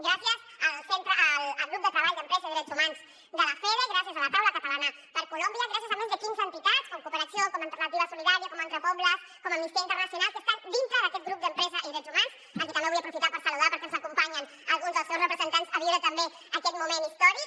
gràcies al grup de treball d’empresa i drets humans de lafede gràcies a la taula catalana per colòmbia gràcies a més de quinze entitats com cooperacció com alternativa solidària com entrepobles com amnistia internacional que estan dintre d’aquest grup d’empresa i drets humans a qui també vull aprofitar per saludar perquè ens acompanyen alguns dels seus representants a viure també aquest moment històric